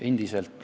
Endiselt.